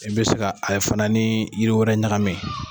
I bɛ se ka a fana ni yiri wɛrɛ ɲagami